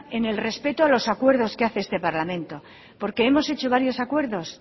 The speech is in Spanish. en el respeto a los acuerdos que hace este parlamento porque hemos hecho varios acuerdos